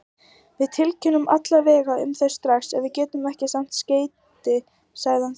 Við tilkynnum alla vega um þau strax og við getum sent skeyti, sagði hann þurrlega.